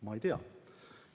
Ma ei tea.